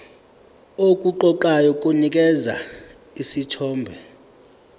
okuqoqayo kunikeza isithombe